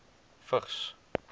vigs